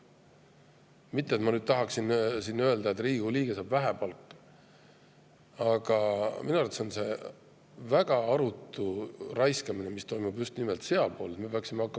Mitte et ma tahaksin nüüd öelda, et Riigikogu liige saab vähe palka, aga minu arvates on väga arutu raiskamine see, mis toimub just nimelt.